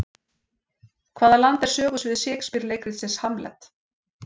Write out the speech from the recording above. Hvaða land er sögusvið Shakespeare leikritsins Hamlet?